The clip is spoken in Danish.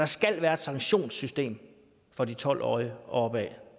skal være et sanktionssystem for de tolv årige og opad